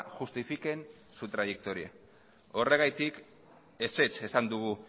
justifiquen su trayectoria horregatik ezetz esan dugu